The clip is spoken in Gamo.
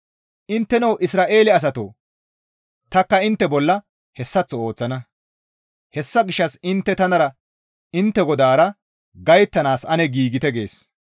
«Intteno Isra7eele asatoo tanikka intte bolla hessaththo ooththana; hessa gishshas intte tanara intte GODAARA gayttanaas ane giigettite!» gees.